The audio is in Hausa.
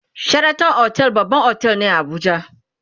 sheraton otel babban otel ne a Abuja